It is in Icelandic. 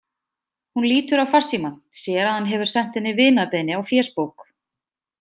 Hún lítur á farsímann, sér að hann hefur sent henni vinarbeiðni á fésbók.